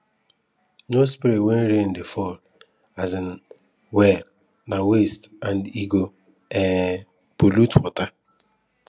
no spray when rain dey fall well um well na waste and e go um pollute water